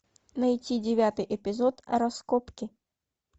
найти девятый эпизод раскопки